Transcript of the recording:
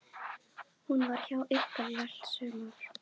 Hún var hjá ykkur í allt sumar.